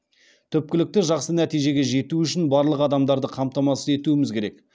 түпкілікті жақсы нәтижеге жету үшін барлық адамдарды қамтамасыз етуіміз керек